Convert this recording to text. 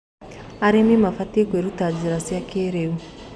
Arĩmĩ mabatĩe kwĩrũta njĩra cĩa kĩĩrĩũ